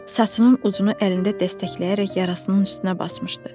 Saçının ucunu əlində dəstəkləyərək yarasının üstünə basmışdı.